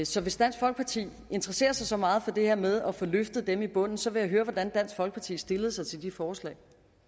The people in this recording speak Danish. så hvis dansk folkeparti interesserer sig så meget for det her med at få løftet dem i bunden så vil jeg høre hvordan dansk folkeparti stillede sig til de forslag